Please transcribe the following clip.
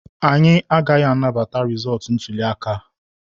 Anyị agaghị anabata rịzọọtụ ntuli aka a.